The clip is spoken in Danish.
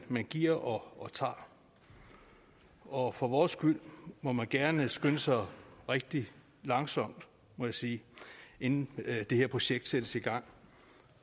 at man giver og tager og for vores skyld må man gerne skynde sig rigtig langsomt må jeg sige inden det her projekt sættes i gang